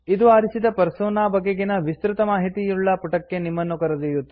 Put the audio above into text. ಇದು ಆರಿಸಿದ ಪರ್ಸೋನಾ ಬಗೆಗಿನ ವಿಸ್ತೃತ ಮಾಹಿತಿಯುಳ್ಳ ಪುಟಕ್ಕೆ ನಿಮ್ಮನ್ನು ಕರೆದೊಯ್ಯುತ್ತದೆ